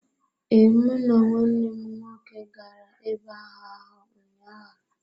Ee, mụ na nwanne m nwoke gara ebe ahụ ahụ ụnyaahụ.